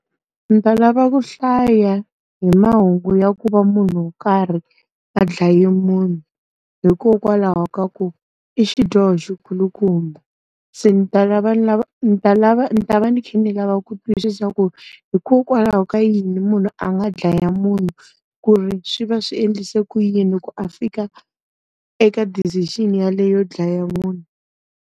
Ndzi ta lava ku hlaya hi mahungu ya ku va munhu wo karhi a dlaye munhu hikokwalaho ka ku, i xidyoho xi kulukumba. Se ndzi ta lava ni ta lava ni ta va ndzi kha ndzi lava ku twisisa ku, hikokwalaho ka yini munhu a nga dlaya munhu, ku ri swi va swi endlise ku yini ku a fika eka decision yaleyo dlaya munhu.